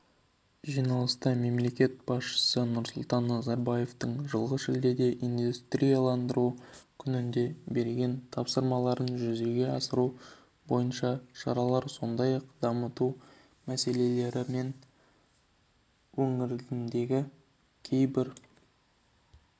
жиналыста мемлекет басшысы нұрсұлтан назарбаевтың жылғы шілдеде индустрияландыру күнінде берген тапсырмаларын жүзеге асыру бойынша шаралар сондай-ақ дамыту мәселелері мен өңірлердегі кейбір